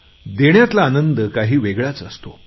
देण्यातला आनंद काही वेगळाच असतो